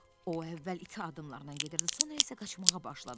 O əvvəl iki addımlarla gedirdi, sonra isə qaçmağa başladı.